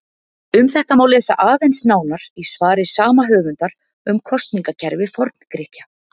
Um þetta má lesa aðeins nánar í svari sama höfundar um kosningakerfi Forngrikkja.